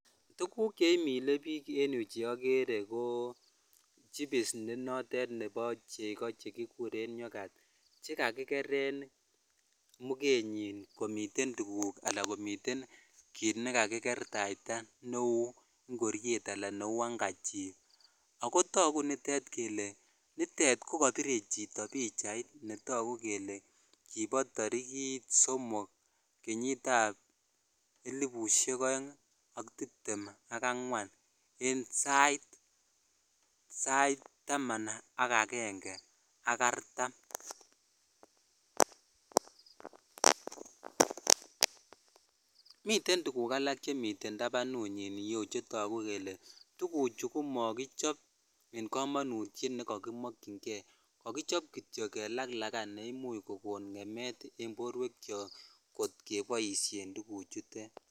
Tuguk cheimile biik en yu cheokere ko chipis nenoten kobo chego chekikuren yoghurt chekakikeren mugenyin komiten tuguk anan komiten kiit nekakikertaita neu ngoriet anan neu handkerchir ako togu kole nitet kokobire chito pichait netoku kele kibo torikit somok kenyit ab elipusiek oeng' ak tiptem ak angwan en sait taman ak agenge ak artam., miten tuguk alak chemiten tabanunyin netoku kele tuguchu komokichop en kamanu nekokimokyingei, kokichop kityo kelaklakan neimuch kokon ng'emet en borwekyok kotkeboisien tuguchutet.